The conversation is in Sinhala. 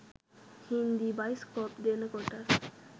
හින්දි බයිස්කෝප් දෙනකොට